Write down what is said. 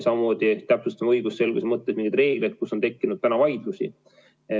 Samuti täpsustame õigusselguse mõttes mingeid reegleid, mille puhul on tekkinud vaidlusi.